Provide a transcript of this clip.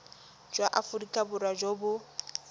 jwa aforika borwa jo bo